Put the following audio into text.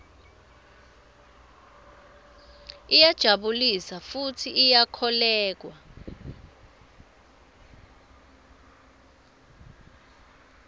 iyajabulisa futsi iyakholweka